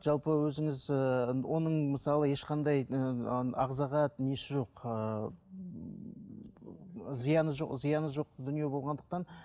жалпы өзіңіз ііі оның мысалы ешқандай ііі ағзаға несі жоқ ыыы зияны жоқ зияны жоқ дүние болғандықтан